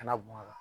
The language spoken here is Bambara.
Kana bɔn a kan